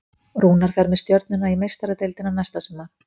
Rúnar fer með Stjörnuna í Meistaradeildina næsta sumar.